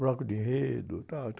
Bloco de enredo, tal.